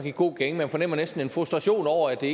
i god gænge man fornemmer næsten en frustration over at det